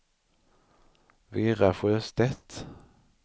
Vera Sjöstedt